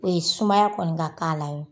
O ye sumaya kɔni ka k'a la ye.